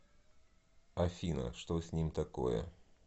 афина что с ним такое